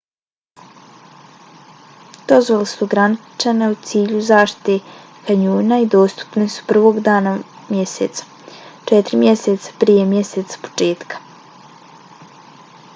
dozvole su ograničene u cilju zaštite kanjona i dostupne su 1. dana mjeseca četiri mjeseca prije mjeseca početka